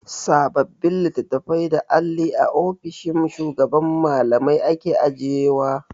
Sababbin litattafai da alli a ofishin shugaban Mallamai ake ajiyewa.